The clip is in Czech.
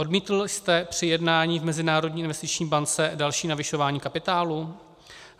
Odmítl jste při jednání v Mezinárodní investiční bance další navyšování kapitálu?